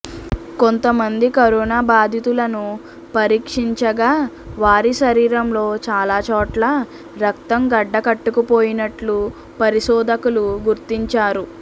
కొంతమంది కరోనా బాధితులను పరీక్షించగా వారి శరీరంలో చాలా చోట్ల రక్తం గడ్డకట్టుపోయినట్లు పరిశోధకులు గుర్తించారు